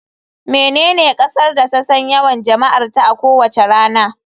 Menene kasar da ta san yawan jama'arta a kowace rana.